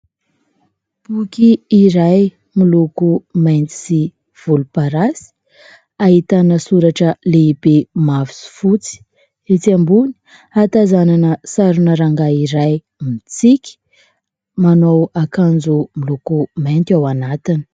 Boky iray miloko mainty sy volomparasy ahitana soratra lehibe mavo sy fotsy etsy ambony hatazanana sarina rangahy iray mitsiky, manao akanjo miloko mainty ao anatiny.